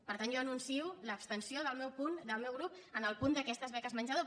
per tant jo anuncio l’abstenció del meu grup en el punt d’aquestes beques menjador